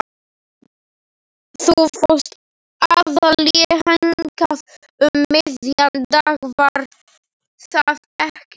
Þú fórst aðallega hingað um miðjan dag, var það ekki?